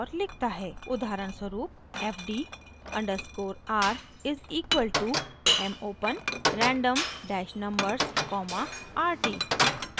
उदाहरणस्वरूप fd underscore r is equal to mopenrandomnumbersrt